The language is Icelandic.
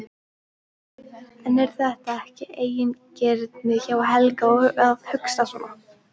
En er þetta ekki eigingirni hjá Helga að hugsa svona?